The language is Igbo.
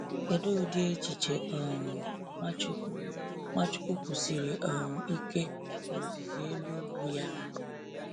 Kedu ụdị echiche um Nwachukwu Nwachukwu kwusiri um ike na Ozizi Elu Ugwu ya?